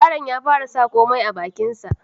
Yaron ya fara sa komai a bakin sa